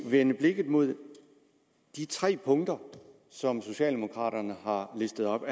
vende blikket mod de tre punkter som socialdemokraterne har listet op